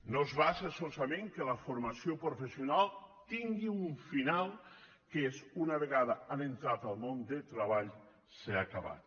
no es basa solament en el fet que la formació professional tingui un final que és una vegada que han entrat al món del treball s’ha acabat